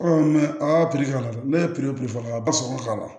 a ka k'a la ne ye k'a la